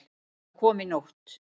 Hann kom í nótt.